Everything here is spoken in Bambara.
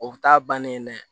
O bɛ taa ban ne dɛ